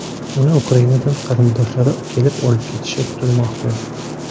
Uni Ukrainadan qarindoshlari kelib olib ketishi kutilmoqda.